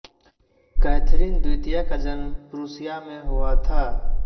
Catherine द्वितीय का जन्म प्रुसिया में हुआ था